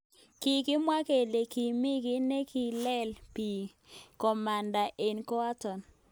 Kikimwa kele kimi ki nekikilech bik komanda eng koatak.